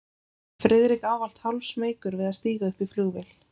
Friðrik ávallt hálfsmeykur við að stíga upp í flugvél.